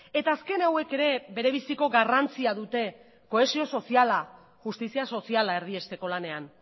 eta azken hauek ere bere biziko garrantzia dute kohesio soziala justizia soziala erdiesteko lanean